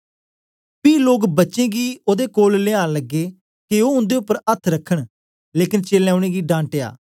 पी लोक बच्चें गी ओदे कोल लयान लगे के ओ उन्दे उपर अथ्थ रखन लेकन चेलें उनेंगी डाटया